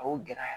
A y'o gɛlɛya